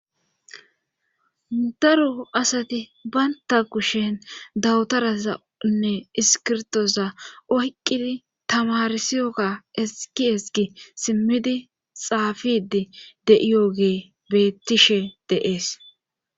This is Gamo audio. daro asati baynta kushen dawutarazanne iskirtoza oyqqidi tamarsiyoka eski esgi simmidi xaafidi de7iyogee bettishe deees